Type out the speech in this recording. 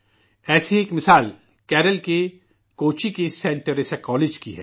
ایسی ہی ایک مثال کیرالہ کے کوچی کے سینٹ ٹیریسا کالج کا ہے